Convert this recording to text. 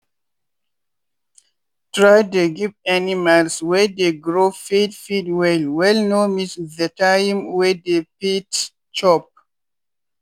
try dey give animals wey dey grow feed feed well wellno miss the time wey dey fit chop.